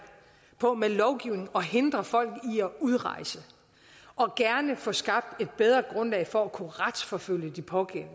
på med lovgivning at hindre folk i at udrejse og gerne få skabt et bedre grundlag for at kunne retsforfølge de pågældende